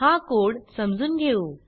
हा कोड समजून घेऊ